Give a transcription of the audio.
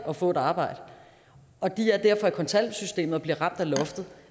at få et arbejde og de er derfor i kontanthjælpssystemet og bliver ramt af loftet